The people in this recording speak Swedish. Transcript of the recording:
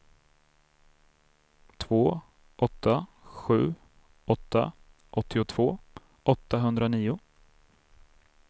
två åtta sju åtta åttiotvå åttahundranio